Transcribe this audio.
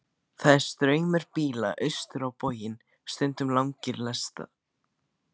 Það er straumur bíla austur á bóginn, stundum langar lestir.